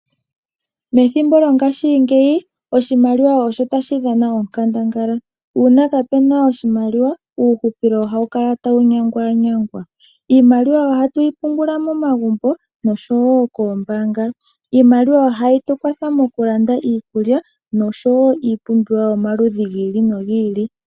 Methimbo lyongashingeyi oshimaliwa oshi otashi dhana oonkandangala. Uuna kapena oshimaliwa, uuhupilo ohawu kala tawu nyanganyangwa. Iimaliwa ohatu yi pungula momagumbo osho wo koombanga. Iimaliwa ohayi tu kwatha moku landa iikulya nosho wo iipumbiwa yomaludhi giili no giili.